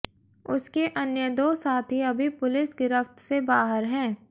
उसके अन्य दो साथी अभी पुलिस गिरफ्त से बाहर हैं